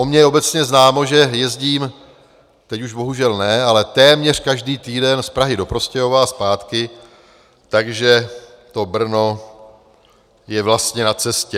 O mně je obecně známo, že jezdím, teď už bohužel ne, ale téměř každý týden z Prahy do Prostějova a zpátky, takže to Brno je vlastně na cestě.